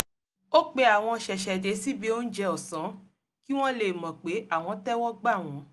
ó pe àwọn ṣẹ̀ṣẹ̀dé síbi óúnjẹ ọ̀sán kí wọ́n lè mọ̀ pé àwọn tẹ́wọ́ gbà wọ́n